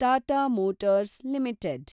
Tata Motors limited